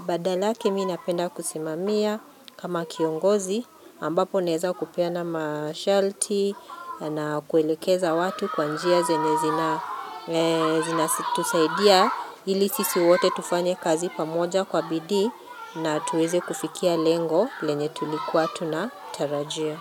Badalake mi napenda kusimamia kama kiongozi, ambapo naweza kupeana ma shalti, na kuelekeza watu kwa njia zinye zinatusaidia. Ili sisi wote tufanye kazi pamoja kwa bidii na tuweze kufikia lengo lenye tulikuwa tunatarajia.